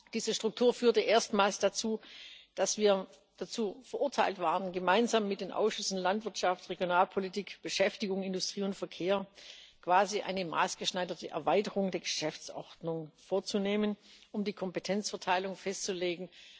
Diese Struktur führte erstmals dazu, dass wir dazu verurteilt waren, gemeinsam mit den Ausschüssen für Landwirtschaft, Regionalpolitik, Beschäftigung, Industrie und Verkehr quasi eine maßgeschneiderte Erweiterung der Geschäftsordnung vorzunehmen, um die Kompetenzverteilung festzulegen.